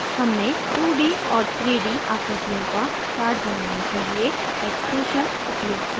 हमने 2d और 3d आकृतियों का chart बनाने के लिए extrusion उपयोग किया